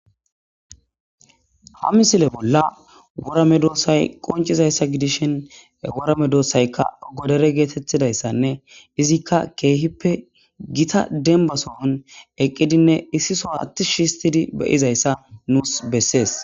Ha misile bolla worame doossay qoncizayssa gidishin worame doossaykka godore geetettidayssanne izikka keehippe gita denbasohon eqqidinne issi so attish histidi beyizayssa nuus bessees.